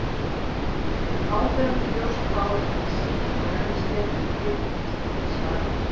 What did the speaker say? Með áberandi ljóst hár, sítt og rennislétt, og klippt eins og Prins Valíant.